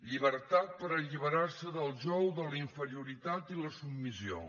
llibertat per alliberar se del jou de la inferioritat i la submissió